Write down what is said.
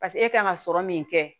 paseke e kan ka sɔrɔ min kɛ